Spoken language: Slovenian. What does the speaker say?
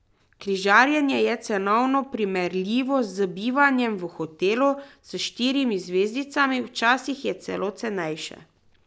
Križarjenje je cenovno primerljivo z bivanjem v hotelu s štirimi zvezdicami, včasih je celo cenejše.